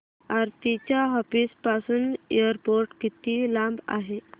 आरती च्या ऑफिस पासून एअरपोर्ट किती लांब आहे